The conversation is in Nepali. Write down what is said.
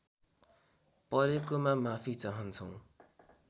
परेकोमा माफि चाहन्छौँ